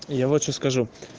я вот что скажу